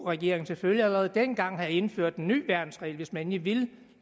regeringen selvfølgelig allerede dengang have indført en ny værnsregel hvis man endelig ville